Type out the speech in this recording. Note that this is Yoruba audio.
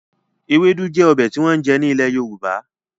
Ewédú jẹ́ ọbẹ̀ tí wọ́n ń jẹ ní ilè Yorùbá